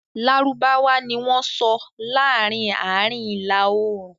Lárúbáwá ni wọ́n sọ laarin Aarin Ila-oorun